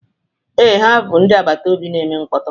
Ee, ha bụ ndị agbata obi na-eme mkpọtụ